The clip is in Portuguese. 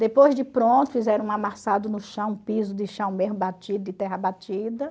Depois de pronto, fizeram um amassado no chão, um piso de chão mesmo batido, de terra batida.